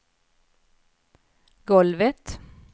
golvet